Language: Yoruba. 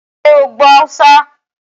Ṣé o gbọ́ Haúsá?